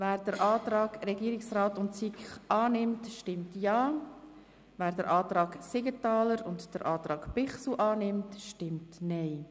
Wer den Antrag Regierungsrat/SiK annimmt, stimmt Ja, wer den Antrag Siegenthaler/ Bichsel annimmt, stimmt Nein.